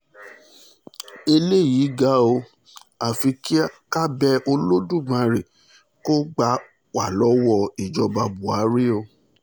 eléyìí ga o afi ká bẹ ọba elódùmarè kó kó gbà wá lọ́wọ́ ìjọba buhari o